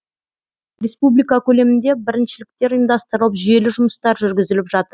республика көлемінде біріншіліктер ұйымдастырылып жүйелі жұмыстар жүргізіліп жатыр